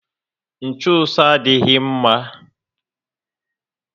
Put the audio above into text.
Nchuso adịghị mma